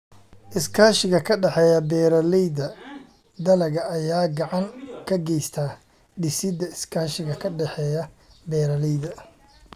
Iskaashiga ka dhexeeya Beeralayda Dalagga ayaa gacan ka geysta dhisidda iskaashiga ka dhexeeya beeralayda.